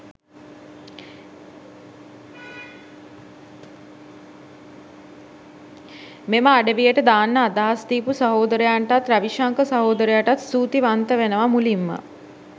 මෙම අඩවියට දාන්න අදහස් දීපු සහෝදරයන්ටත් රවිශංක සහෝදරයාටත් ස්තුති වන්ත වෙනවා මුලින්ම.